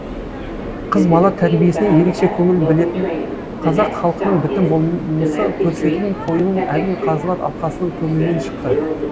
қыз бала тәрбиесіне ерекше көңіл білетін қазақ халқының бітім болмысы көрсетілетін қойылым әділ қазылар алқасының көңілінен шықты